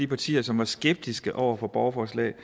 partier som var skeptiske over for borgerforslag